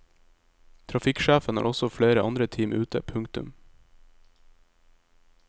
Trafikksjefen har også flere andre team ute. punktum